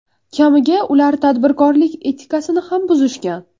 Kamiga, ular tadbirkorlik etikasini ham buzishgan.